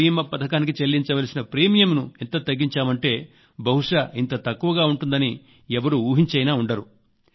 అన్నింటికి మించి పంటల భీమా పథకానికి చెల్లించలసిన ప్రీమియంను ఎంత తగ్గించామంటే బహుశా ఇంత తక్కువగా ఉంటుందని ఎవ్వరూ ఊహించైనా ఉండరు